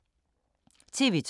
TV 2